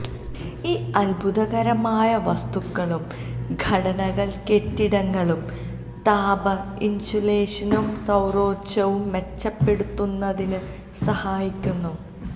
ഈ അത്ഭുതകരമായ വസ്തുക്കളുടെ ഘടനകൾ കെട്ടിടങ്ങളുടെ താപ ഇൻസുലേഷനും സൌരോർജ്ജവും മെച്ചപ്പെടുത്തുന്നതിന് സഹായിക്കുന്നു